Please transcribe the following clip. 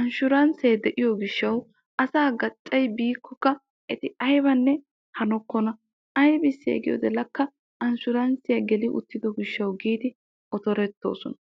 anshuranssee de'iyo gishshawu asaa gaccayi biikkokka eti ayibanne hanokkona. Ayibissee giyode lakka anshuranssiya geli uttido gishshawu otorettoosona.